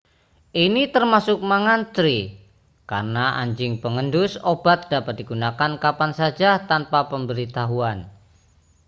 ini termasuk mengantre karena anjing pengendus obat dapat digunakan kapan saja tanpa pemberitahuan